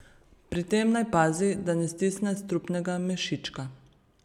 Pri tem naj pazi, da ne stisne strupnega mešička.